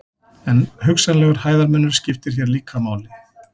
En hugsanlegur hæðarmunur skiptir hér líka máli.